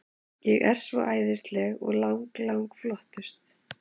Ég er svo æðisleg og lang, lang flottust.